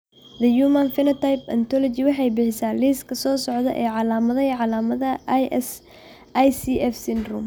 The Human Phenotype Ontology waxay bixisaa liiska soo socda ee calaamadaha iyo calaamadaha ICF syndrome.